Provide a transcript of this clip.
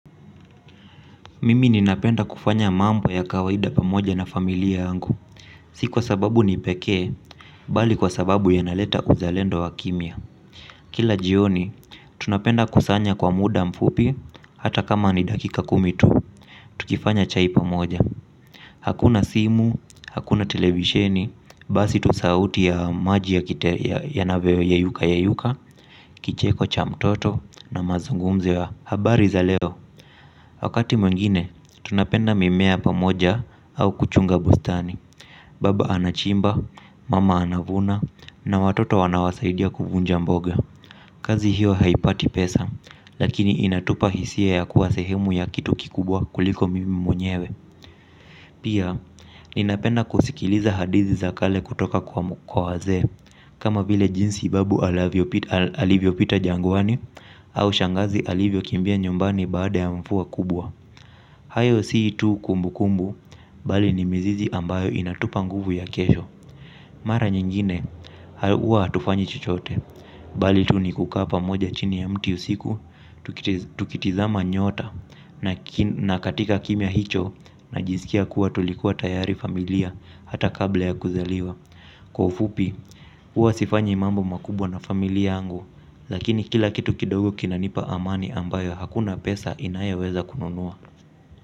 Mimi ninapenda kufanya mambo ya kawaida pamoja na familia yangu. Si kwa sababu ni pekee, bali kwa sababu inaleta uzalendo wa kimya. Kila jioni, tunapenda kusanya kwa muda mfupi, hata kama ni dakika kumi tu, tukifanya chai pamoja. Hakuna simu, hakuna televisheni, basi tu sauti ya maji yanavyoyeyuka yeyuka, kicheko cha mtoto na mazungumzo ya habari za leo. Wakati mwingine, tunapanda mimea pamoja au kuchunga bustani. Baba anachimba, mama anavuna, na watoto wanawasaidia kuvunja mboga. Kazi hiyo haipati pesa, lakini inatupa hisia ya kuwa sehemu ya kitu kikubwa kuliko mimi mwenyewe. Pia, ninapenda kusikiliza hadithi za kale kutoka kwa wazee, kama vile jinsi babu alivyopita jangwani au shangazi alivyokimbia nyumbani baada ya mvua kubwa. Hayo si tu kumbukumbu, bali ni mizizi ambayo inatupa nguvu ya kesho. Mara nyingine, huwa hatufanyi chochote, bali tu ni kukaa pamoja chini ya mti usiku, tukitazama nyota, na katika kimya hicho, najiskia kuwa tulikuwa tayari familia, hata kabla ya kuzaliwa. Kwa ufupi, huwa sifanyi mambo makubwa na familia yangu, lakini kila kitu kidogo kinanipa amani ambayo hakuna pesa inayoweza kununua.